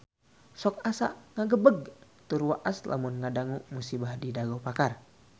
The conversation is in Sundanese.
Sok asa ngagebeg tur waas lamun ngadangu musibah di Dago Pakar